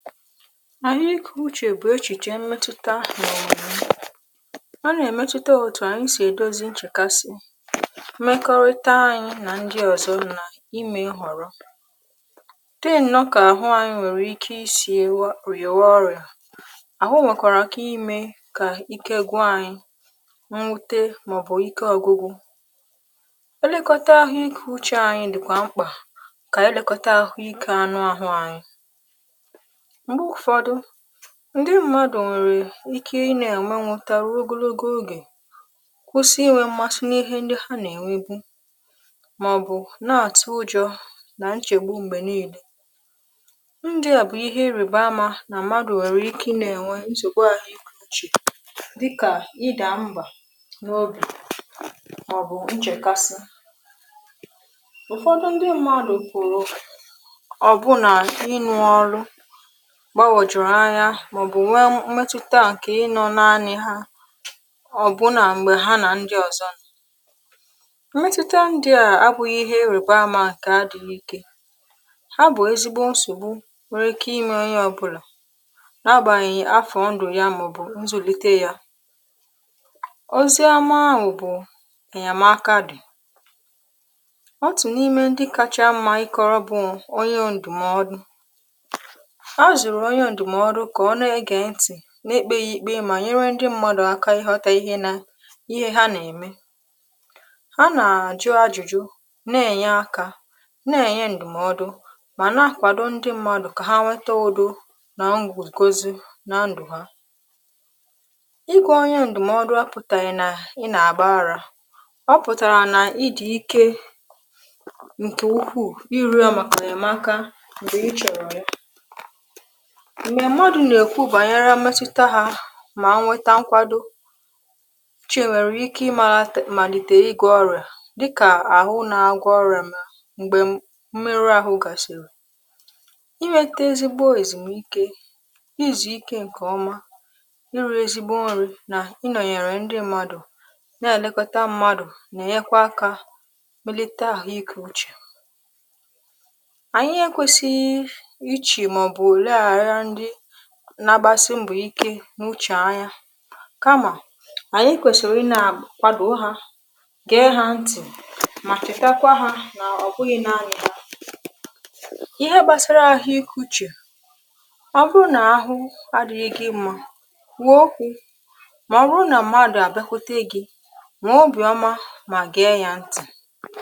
àhu ikė uchè bụ̀ echìchè mmetụta. ọna-èmetuta otù ànyi si èdozi nchèkasị, mmekọrịta anyị nà ndị ọ̀zọ nà imė nhọ̀rọ tinu nọ kà àhụ anyị nwèrè ike isi riawa ọrịà, àhụ nwèkwara ikà imė kà ike gwụ anyị mwute màọbụ̀ ike ọ̀gwụgwụ, elekota àhụ ikė uchė anyị dị̀kwà mkpà kà elekota àhụ ikė anụ àhụ anyị, ṁgbe ụfọdụ ndị mmadụ nwere ike ị na-enwe nweta ruo ogologo oge kwụsị inwe mmasi n’ihe ndị ha na-enwe bụ maọbụ na-atụ ụjọ na nchegbu mgbe niile ndị a bụ ihe ị rebe amȧ na mmadụ nwere ike ị na-enwe ahuike uche dịka ịda mba n’obì maọbụ nchèkasi ụfọdụ ndị mmadụ pụ̀rụ̀ ọbụna ịnụ̇ ọrụ gbagwojụrụ anya màọbụ̀ nwe mmẹtụta ǹkè ị nọ naanị ha ọbụlà m̀gbè ha nà ndị ọ̀zọ m̀mẹtụta ndị à abụ̇ghị̇ ihe iriba ama ǹkè adighi ike ha bụ̀ ezigbo nsògbu nwere ike ime onye ọbụlà n’agbàghị̀ afọ̀ ndụ̀ ya mà bụ̀ nzùlite yȧ ọzị ama ahụ̀ bụ̀ ènyamaka dị̀ ọtụ̀ n’ime ndị kacha mmȧ ịkọ̇rọ̇ bụ̀ onye ndụ̀mọdụ, azụrụ̀ onye ndụmọdụ ka ọna ege nti nà-ekpė ya ìkpe mà nyere ndị mmọdụ aka ịghọta ihe nà ihe ha nà-ème ha nà-àjụ ajụjụ na-ènye akȧ na-ènye ndụmọdụ mà na-akwàdụ ndị mmọdụ kà ha nwetọ udụ nà ngwogò gozu na ndụ̀ ha igwe onye ndụmọdụ apụ̀tàghi na ị nà-àgbara a ọ pụ̀tàrà nà ị dị̀ ike ǹkè ukwuù i riọ màkà enyemaka m̀gbè ichọrọ ya. Mgbe mmadụ̀ nà-èkwụ bànyere mmetụta hȧ mà nweta nkwado chi nwèrè ike ịmȧlàte màlìtère ịgụ̀ ọrị̀à dịkà àhụ na agwọ ọrị̀à m̀gbè mmerụ ahụ gàsìrì inwete ezigbo èzìmuike izù ike ǹkèọma iru̇ ezigbo nri nà inònyèrè ndị mmadụ̀ na-èlekọta mmadụ̀ nà-ènyekwa akȧ melite àhụ ikė uchè ànyị ekwėsi̇ iche ma ọbụ leghara ndi na agbasi mbọ ike nwụchè anya kamà ànyị kwèsìrì ịnȧ kwàdò o hȧ gaa hȧ ntì mà chetakwa hȧ nà ọ̀ bụghị̇ naanị̇ ha. ihe gbasara àhụ ik uchè ọ bụrụ nà ahụ adị̇ghị̇ gị mmȧ wèe okwu̇ mà ọ bụrụ nà mmadụ̀ àbịakwote gị̇ mà obì ọma mà gaa yȧ ntì.